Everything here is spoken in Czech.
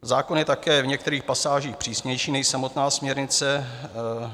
Zákon je také v některých pasážích přísnější než samotná směrnice.